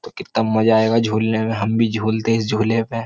तो कित्ता मज़ा आयगा झूलने में। हम भी झूलते इस झूले पे।